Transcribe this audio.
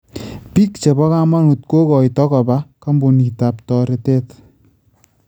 Biik chebo kamanuut kokoito koba koombuniitab toretet